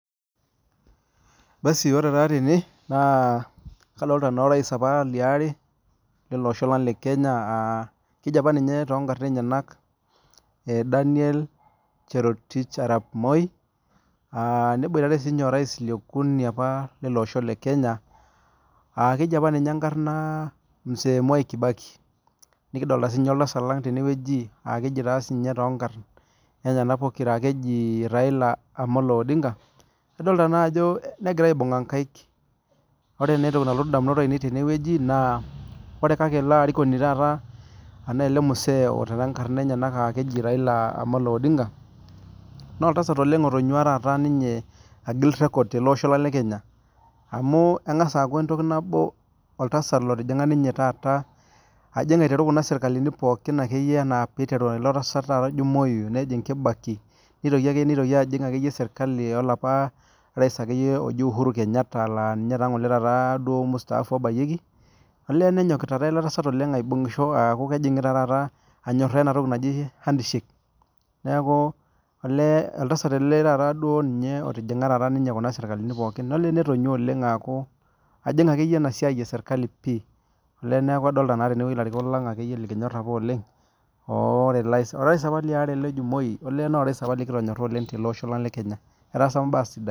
ore taa tene naa kadolita aa orais liare lele Osho lang naa keji apa too nkarn enyena Daniel cherotich arap moi neboitare sininye orais liokuni lele Osho lee Kenya Mzee mwai kibaki nikidolita oltasat leng tenewueji Raila Omolo Odinga negira aibung'a nkaik ore naa ele Mzee otaraa nkarn enyena aa Raila Omolo Odinga naa oltasat otunyua agil record tele Osho lang amu eng'as akuu entoki nabo oltasat otijinga Kuna sirkalini pookin aiteru tee moi nitoki tee kibaki nejig sirkali olapa rais uhuru Kenyatta aa ninye olangole mstaafu obayieki olee nenyokita taa ele tasat aibungishi anyoraa ena toki najii handshake neeku olee oltasat ele otijinga Kuna sirkalini pookin olee metonyua akuu ajig enasiai ee sirkali pii neeku adolita naa tenewueji elarikok lang likinyor oleng orais apa ele oji moi naa orais apa likitonyora oleng tele Osho lang lee Kenya etaasa apa mbaa sidain